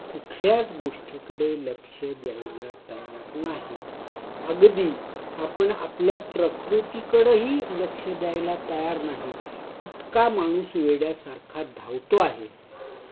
कुठल्याच गोष्टीकडे लक्ष द्यायला तयार नाही. अगदी, आपण आपल्या प्रकृती कडेही लक्ष द्यायला तयार नाही इतका माणूस वेड्यासारखा धावतो आहे